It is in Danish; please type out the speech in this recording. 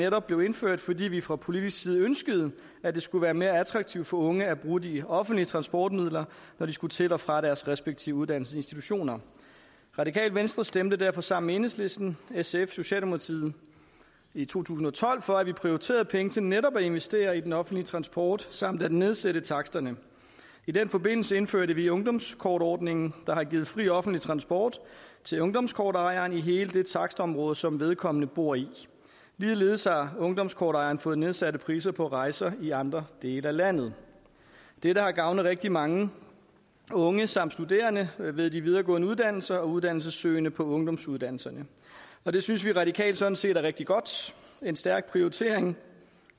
netop blev indført fordi vi fra politisk side ønskede at det skulle være mere attraktivt for unge at bruge de offentlige transportmidler når de skulle til og fra deres respektive uddannelsesinstitutioner radikale venstre stemte derfor sammen med enhedslisten sf og socialdemokratiet i to tusind og tolv for at vi prioriterede penge til netop at investere i den offentlige transport samt at nedsætte taksterne i den forbindelse indførte vi ungdomskortordningen der har givet fri offentlig transport til ungdomskortejeren i hele det takstområde som vedkommende bor i ligeledes har ungdomskortejeren fået nedsatte priser på rejser i andre dele af landet dette har gavnet rigtig mange unge samt studerende ved de videregående uddannelser og uddannelsessøgende på ungdomsuddannelserne og det synes vi radikale sådan set er rigtig godt en stærk prioritering